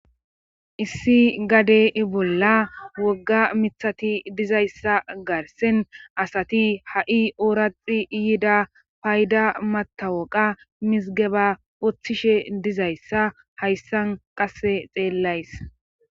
Issi gade i bolla wogga mithati dizayssa garsen asati ha7i ooraxi iyida payda matawoqa mizgeba woththishe dizayssa hayssan qasse xeellays